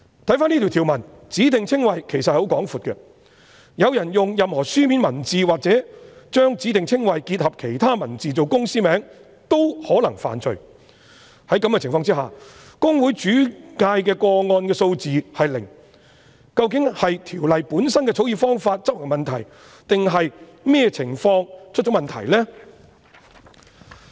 根據這項條文，"指定稱謂"涵義其實十分廣闊，有人用任何書面文字或將指定稱謂結合其他文字來作為公司名稱均可能犯罪，在這種情況下，公會轉介的個案數字是零，究竟是《條例》本身的草擬方法有問題，或是執行的問題，或是哪裏出現問題？